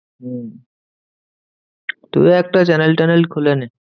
হম তুইও একটা channel ট্যানেল খুলে নে।